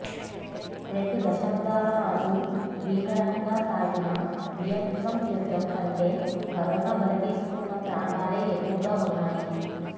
రెండు దశాబ్దాల పాటు భీకరంగా సాగిన వియత్నాం యుద్ధం కంటే కరోనా బలితీసుకున్న ప్రాణాలే ఎక్కువగా ఉన్నాయి